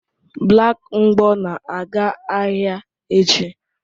Black mgbo na-aga ahịa echi